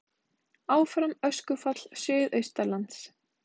Áfram öskufall suðaustanlands